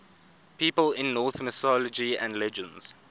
people in norse mythology and legends